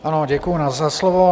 Ano, děkuji za slovo.